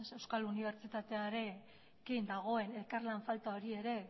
euskal unibertsitatearekin dagoen elkarlan falta hori ere